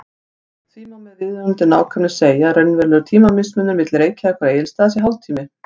Því má með viðunandi nákvæmni segja að raunverulegur tímamismunur milli Reykjavíkur og Egilsstaða sé hálftími.